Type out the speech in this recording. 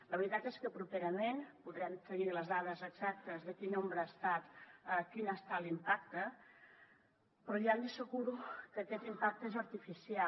la veritat és que properament podrem tenir les dades exactes de quin n’ha estat l’impacte però ja li asseguro que aquest impacte és artificial